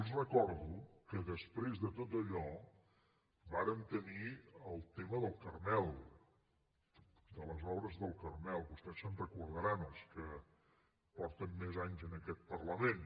els recordo que després de tot allò vàrem tenir el tema del carmel de les obres del carmel vostès se’n deuen recordar els que fa més anys que són en aquest parlament